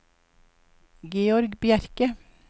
Georg Bjerke